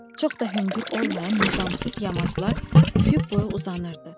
Çox da hündür olmayan nizamsız yamaclar üfüq boyu uzanırdı.